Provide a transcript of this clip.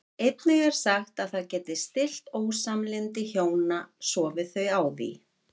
Einnig er sagt að það geti stillt ósamlyndi hjóna sofi þau á því.